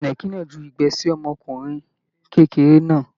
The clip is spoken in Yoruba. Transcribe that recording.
Ìnàkí náà jù igbẹ́ sí ọmọkùnrin kékeré náà.